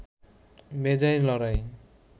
বেজায় লড়াই